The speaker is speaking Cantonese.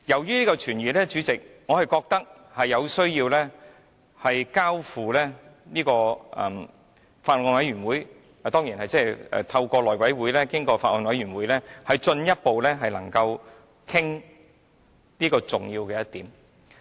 因此，主席，我覺得有需要透過內務委員會交付法案委員會研究，由法案委員會進一步討論這重要的一點。